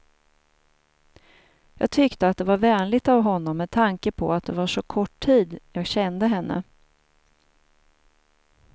Jag tyckte att det var vänligt av honom, med tanke på att det var så kort tid jag kände henne.